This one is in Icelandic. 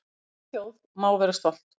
Okkar litla þjóð má vera stolt